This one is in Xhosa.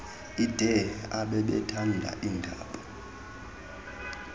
ide ababethanda iindaba